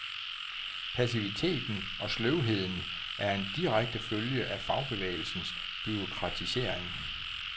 Passiviteten og sløvheden er en direkte følge af fagbevægelsens bureaukratisering.